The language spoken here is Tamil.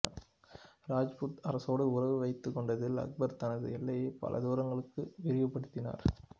ராஜ்புத் அரசோடு உறவு வைத்து கொண்டதில் அக்பர் தனது எல்லையை பல தூரங்களுக்கு விரிவுபடுத்தினார்